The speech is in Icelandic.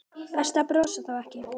Best að brosa þá ekki.